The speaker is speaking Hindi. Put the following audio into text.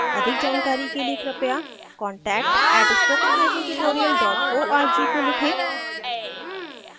अधिक जानकारी के कृपया contact @spokentutorial org को लिखें